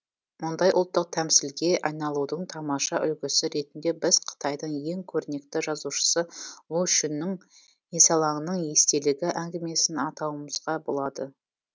мұндай ұлттық тәмсілге айналудың тамаша үлгісі ретінде біз қытайдың ең көрнекті жазушысы лу шүннің есалаңның естелігі әңгімесін атауымызға болады